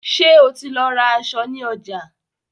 Ṣé o ti lọ ra aṣọ in ọjà?